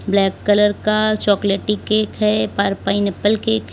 Black colour का चॉकलेटी cake है पा पाइनएप्पल केक है।